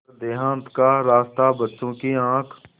पर देहात का रास्ता बच्चों की आँख